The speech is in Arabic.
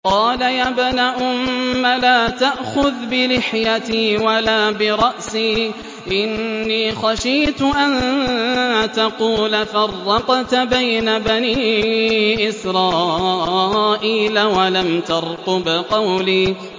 قَالَ يَا ابْنَ أُمَّ لَا تَأْخُذْ بِلِحْيَتِي وَلَا بِرَأْسِي ۖ إِنِّي خَشِيتُ أَن تَقُولَ فَرَّقْتَ بَيْنَ بَنِي إِسْرَائِيلَ وَلَمْ تَرْقُبْ قَوْلِي